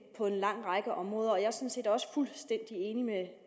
på en lang række områder og jeg er sådan set også fuldstændig enig med